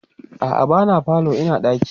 a'a ba na falo Ina ɗaki